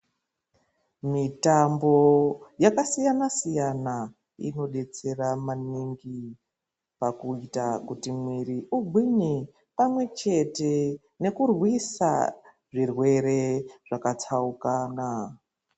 Mitambo yakasiyana siyana inodetsera maningi pakuita kuti mwiri ugwinye pamwechete nekurwisa zvirwere zvakatsaukana.